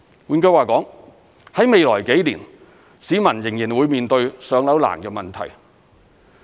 換句話說，在未來幾年，市民仍然會面對"上樓"難的問題。